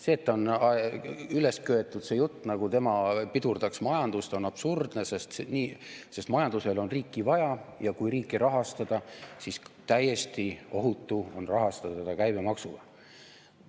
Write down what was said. See, et on üles köetud see jutt, nagu tema pidurdaks majandust, on absurdne, sest majandusele on riiki vaja, ja kui riiki rahastada, siis täiesti ohutu on rahastada teda käibemaksuga.